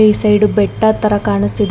ಈ ಸೈಡ್ ಬೆಟ್ಟ ತರ ಕಾಣಿಸ್ತಿದೆ.